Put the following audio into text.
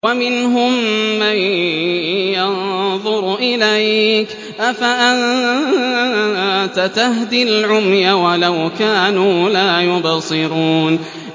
وَمِنْهُم مَّن يَنظُرُ إِلَيْكَ ۚ أَفَأَنتَ تَهْدِي الْعُمْيَ وَلَوْ كَانُوا لَا يُبْصِرُونَ